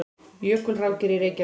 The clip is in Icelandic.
Jökulrákir í Reykjavík.